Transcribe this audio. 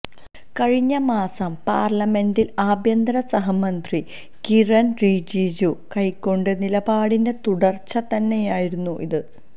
കഴിഞ്ഞ മാസം പാർലമെന്റിൽ ആഭ്യന്തര സഹമന്ത്രി കിരൺ റിജിജു കൈക്കൊണ്ട നിലപാടിന്റെ തുടർച്ച തന്നെയായിരുന്നു ഇത്